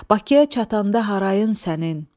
Bakıya çatanda harayın sənin.